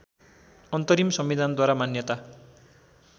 अन्तरिम संविधानद्वारा मान्यता